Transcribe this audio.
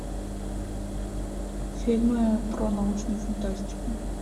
фильмы про научную фантастику